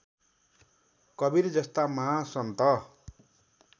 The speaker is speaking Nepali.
कवीर जस्ता महासन्त